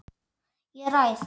Ég ræð.